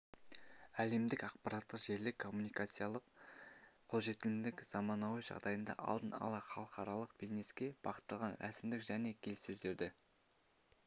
әлемдік ақпараттық-желілік коммуникациялық қолжетімдігінің заманауи жағдайында алдын ала халықаралық бизнеске бағытталған рәсімдер және келіссөздерді